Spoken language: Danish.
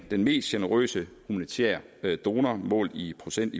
den mest generøse humanitære donor målt i procent